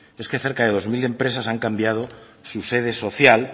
es que cerca de dos mil empresas han cambiado su sede social